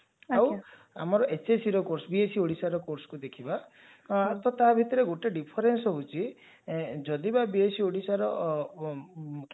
ଆଜ୍ଞା ଆଉ ଆମର hscର course B.Sc ଓଡିଶାର courseକୁ ଦେଖିବା ତ ତା ଭିତରେ ଗୋଟେ difference ହଉଛି ଯଦି ବା B.Sc ଓଡିଶାର